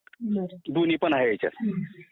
दोन्ही पण आहे ह्याच्यात